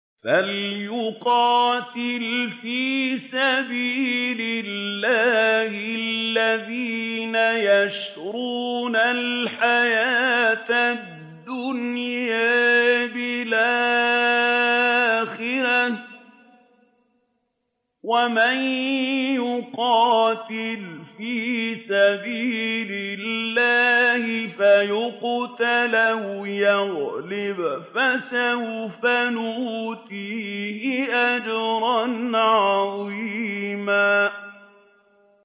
۞ فَلْيُقَاتِلْ فِي سَبِيلِ اللَّهِ الَّذِينَ يَشْرُونَ الْحَيَاةَ الدُّنْيَا بِالْآخِرَةِ ۚ وَمَن يُقَاتِلْ فِي سَبِيلِ اللَّهِ فَيُقْتَلْ أَوْ يَغْلِبْ فَسَوْفَ نُؤْتِيهِ أَجْرًا عَظِيمًا